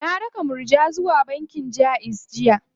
Na raka Murja bankin Jaiz jiya.